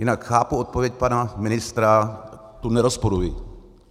Jinak chápu odpověď pana ministra, tu nerozporuji.